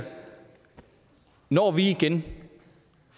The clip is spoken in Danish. når vi igen